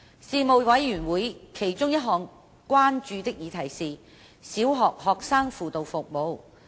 事務委員會其中一項關注的議題是小學學生輔導服務。